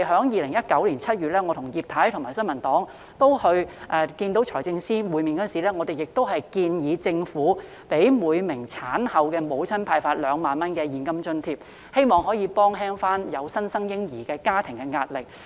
2019年7月，我、葉太及新民黨成員與財政司司長會面時，曾建議政府向每名產後婦女派發2萬元現金津貼，希望減輕有新生嬰兒的家庭的壓力。